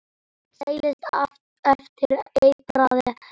Seilist eftir eitraða peðinu.